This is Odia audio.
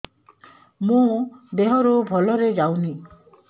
ମୋ ଦିହରୁ ଭଲରେ ଯାଉନି